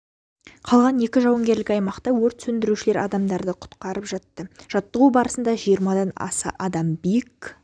қалған екі жауынгерлік аймақта өрт сөндірушілер адамдарды құтқарып жатты жаттығу барысында жиырмадан аса адам биік